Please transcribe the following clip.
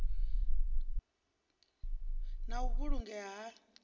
na u vhulungea ha u